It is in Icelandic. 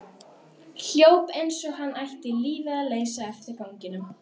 Hljóp eins og hann ætti lífið að leysa eftir ganginum.